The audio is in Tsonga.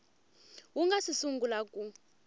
wu nga si sungula ku